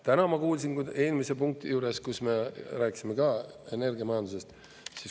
Täna ma kuulsin eelmise punkti juures, kus me rääkisime ka energiamajandusest.